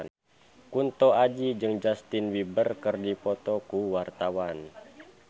Kunto Aji jeung Justin Beiber keur dipoto ku wartawan